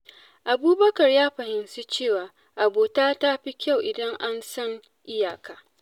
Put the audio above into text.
Abubakar ya fahimci cewa abota ta fi kyau idan an san iyaka.